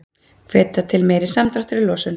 Hvetja til meiri samdráttar í losun